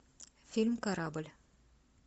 фильм корабль